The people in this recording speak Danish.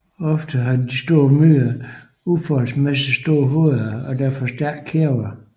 Ofte har de store myrer uforholdsmæssigt store hoveder og derfor stærkere kæber